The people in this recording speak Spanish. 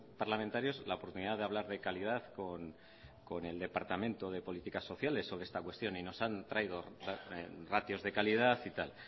parlamentarios la oportunidad de hablar de calidad con el departamento de políticas sociales sobre esta cuestión y nos han traído ratios de calidad y tal